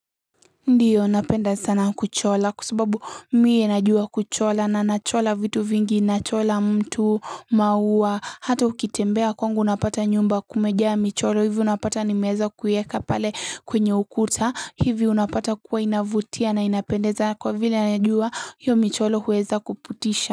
Ndiyo napenda sana kuchora kwa sababu mie najua kuchora na nachora vitu vingi nachora mtu maua hata ukitembea kwangu unapata nyumba kumejaa michoro hivi unapata nimeweza kuiweka pale kwenye ukuta hivi unapata kuwa inavutia na inapendeza kwa vile anajua hiyo michoro huweza kuvutisha.